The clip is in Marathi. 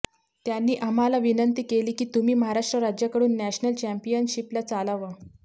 त्यांनी आम्हाला विनंती केली की तुम्ही महाराष्ट्र राज्याकडून नॅशनल चॅम्पियनशिपला चलावं